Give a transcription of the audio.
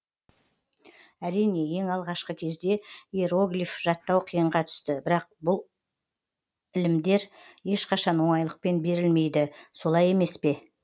әрине ең алғашқы кезде иероглиф жаттау қиынға түсті бірақ ұлы білімдер ешқашан оңайлықпен берілмейді солай емес па